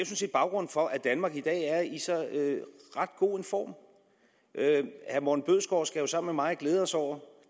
set baggrunden for at danmark i dag er i så ret god en form herre morten bødskov skal jo sammen med mig glæde sig over